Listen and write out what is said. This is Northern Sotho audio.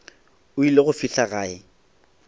o ile go fihla gae